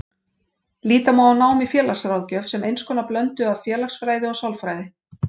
Líta má á nám í félagsráðgjöf sem eins konar blöndu af félagsfræði og sálfræði.